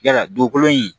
Yala dugukolo in